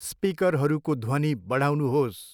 स्पिकरहरूको ध्वनि बढाउनुहोस्।